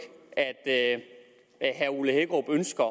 at herre ole hækkerup ønsker